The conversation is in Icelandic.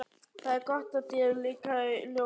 Það er gott að þér líkaði ljóðið.